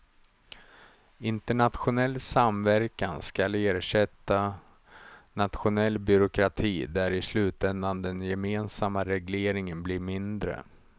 Internationell samverkan skall ersätta nationell byråkrati där i slutändan den gemensamma regleringen blir mindre.